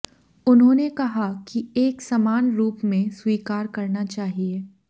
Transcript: उन्होंने कहा कि एक समान रूप में स्वीकार करना चाहिए